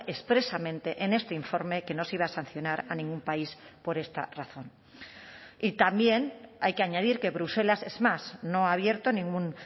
expresamente en este informe que no se iba a sancionar a ningún país por esta razón y también hay que añadir que bruselas es más no ha abierto ningún